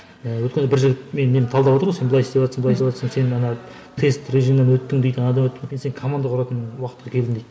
өткенде бір жігіт менің немді талдаватыр ғой сен былай істеватырсың былай істеватсың сен ана тест режимнен өттің дейді анадан өттің дейді сен команда құратын уақытқа келдің дейді